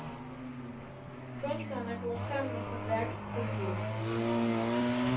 Kunstneren er groet sammen med sit værks tilblivelse.